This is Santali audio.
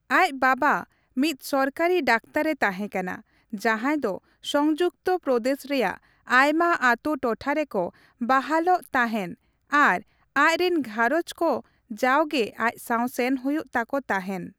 ᱟᱡ ᱵᱟᱵᱟ ᱢᱤᱫ ᱥᱚᱨᱠᱟᱨᱤ ᱰᱟᱠᱛᱟᱨᱮ ᱛᱟᱦᱮᱸᱠᱟᱱᱟ ᱡᱟᱦᱟᱸᱭ ᱫᱚ ᱥᱚᱝᱡᱩᱠᱛᱚ ᱯᱨᱚᱫᱮᱥ ᱨᱮᱭᱟᱜ ᱟᱭᱢᱟ ᱟᱛᱩ ᱴᱚᱴᱷᱟ ᱨᱮᱠᱚ ᱵᱟᱦᱟᱞᱚᱜ ᱛᱟᱦᱮᱱ ᱟᱨ ᱟᱡ ᱨᱤᱱ ᱜᱷᱟᱨᱚᱸᱡᱽ ᱠᱚ ᱡᱟᱣᱜᱮ ᱟᱡ ᱥᱟᱶ ᱥᱮᱱ ᱦᱩᱭᱩᱜ ᱛᱟᱠᱚ ᱛᱟᱦᱮᱱ ᱾